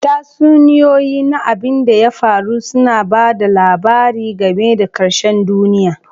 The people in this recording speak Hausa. Tatsuniyoyi na abin da ya faru suna ba da labari game da ƙarshen duniya.